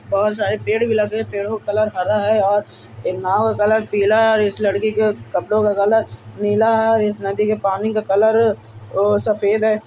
बोहोत सारे पेड़ भी लगे। पेड़ों का कलर हरा है और ए नाव का कलर पीला है और इस लड़की के कपड़ो का कलर नीला है और इस नदी के पानी का कलर ओ सफेद है।